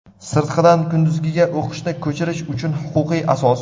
Sirtqidan kunduzgiga o‘qishni ko‘chirish uchun huquqiy asos.